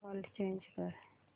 default change कर